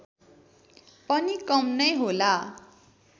पनि कम नै होला